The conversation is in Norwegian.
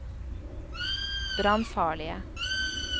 brannfarlige